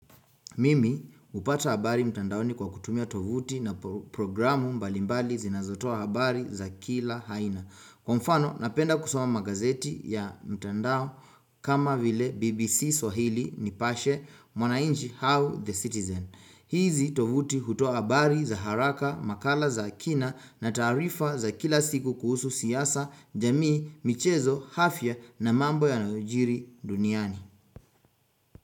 Mimi hupata habari mtandaoni kwa kutumia tovuti na programu mbalimbali zinazotoa habari za kila haina. Kwa mfano, napenda kusoma magazeti ya mtandao kama vile BBC swahili nipashe mwanainji hau the Citizen. Hizi tovuti hutua habari za haraka, makala za kina na taarifa za kila siku kuhusu siasa, jamii, michezo, hafya na mambo yanayojiri duniani.